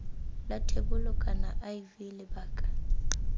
la thebolo kana iv lebaka